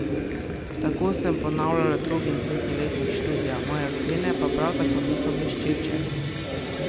Tako sem ponavljala drugi in tretji letnik študija, moje ocene pa prav tako niso bleščeče.